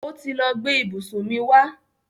Ó ti lọ gbe ìbùsùn mi wa.